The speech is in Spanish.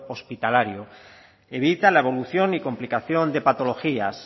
hospitalario evita la evolución y complicación de patologías